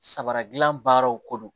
Samara dilan baaraw ko don